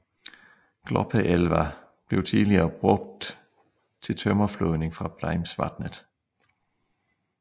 Gloppeelva blev tidligere brugt til tømmerflådning fra Breimsvatnet